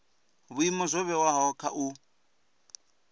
vhuimo zwo vhewaho kha u